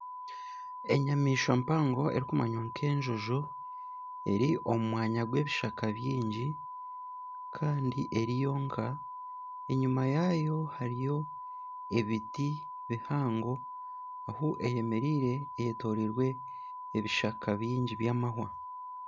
Enyamaishwa mpango erikumanywa nk'enjojo eri omu mwanya gw'ebishaka bingi kandi eri yonka. Enyima yaayo hariyo ebiti bihango. Ahu eyemereire eyetoroirwe ebishaka bingi by'amahwa.